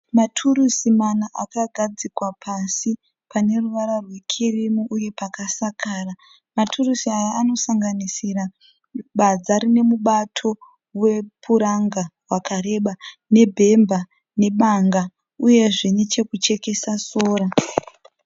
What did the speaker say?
Turusi mana akagadzikwa pasi paneruvara rwekirimu uye pakasakara. Maturusi aya anosanganisira badza rinemubato wepuranga wakareba, nebhemba nebanga, uyezve nechekuchekesa sora.